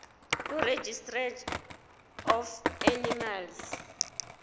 kuregistrar of animals